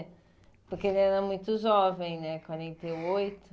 Porque ele era muito jovem, né? Quarenta e oito